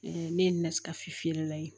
ne ye n na skafi feerela ye